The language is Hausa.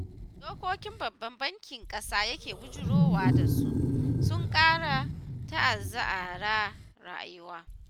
Dokokin Babban Bankin ƙasa yake bujurowa da su, sun ƙara ta'azaara rayuwa.